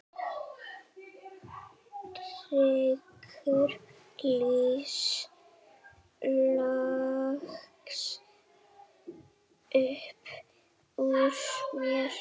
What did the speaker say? hrekkur loks upp úr mér.